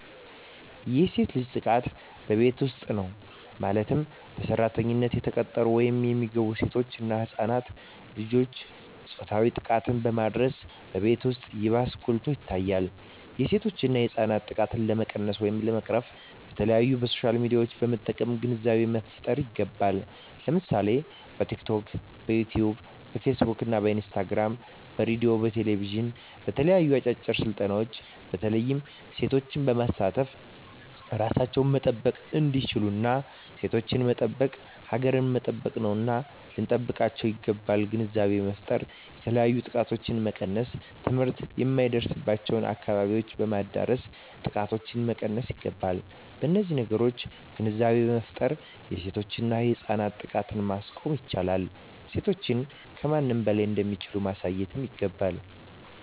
የሴት ልጅ ጥቃት በቤት ዉስጥ ነዉ ማለትም በሰራተኛነት የተቀጠሩ ወይም የሚገቡሴቶች እና ህፃናት ልጆችን ፆታዊ ጥቃትን በማድረስ በቤት ዉስጥ ይባስ ጎልቶ ይታያል የሴቶችና የህፃናት ጥቃት ለመቀነስ ወይም ለመቅረፍ በተለያዩ በሶሻል ሚድያዎችን በመጠቀም ግንዛቤ መፍጠር ይገባል ለምሳሌ በቲክቶክ በዮትዮብ በፊስ ቡክ በኢንስታግራም በሬድዮ በቴሌብዥን በተለያዩ አጫጭር ስልጠናዎች በተለይ ሴቶችን በማሳተፍ እራሳቸዉን መጠበቅ እንዲችሉና ሴቶችን መጠበቅ ሀገርን መጠበቅ ነዉና ልንጠብቃቸዉ ይገባል ግንዛቤ በመፍጠር የተለያዮ ጥቃቶችን መቀነስ ትምህርት የማይደርሱበትን አካባቢዎች በማዳረስ ጥቃቶችን መቀነስ ይገባል በነዚህ ነገሮች ግንዛቤ በመፍጠር የሴቶችና የህፃናትን ጥቃት ማስቆም ይቻላል ሴቶች ከማንም በላይ እንደሚችሉ ማሳየት ይገባል